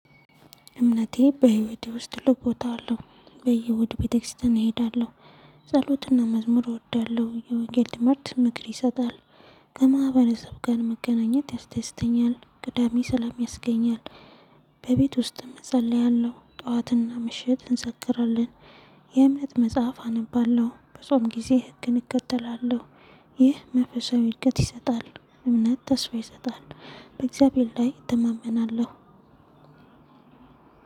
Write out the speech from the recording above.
እምነቴ በህይወቴ ውስጥ ትልቅ ቦታ አለው። በየእሁድ ቤተክርስቲያን እሄዳለሁ። ጸሎትና መዝሙር እወዳለሁ የወንጌል ትምህርት ምክር ይሰጣል። ከማህበረሰብ ጋር መገናኘት ያስደስተኛል ቅዳሜ ሠላም ያስገኛል። በቤት ውስጥም እጸልያለሁ ጠዋትና ምሽት እንሰክራለን። የእምነት መጽሐፍ አነባለሁ በጾም ጊዜ ህግን እከተላለሁ። ይህ መንፈሳዊ እድገት ይሰጣል። እምነት ተስፋ ይሰጣል። በእግዚአብሔር ላይ እተማመናለሁ።